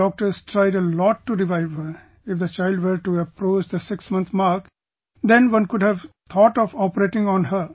The doctors tried a lot to revive her, if the child were to approach the six month mark, then one could have thought of operating on her